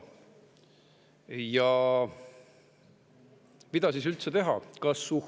Ja mida siis üldse teha?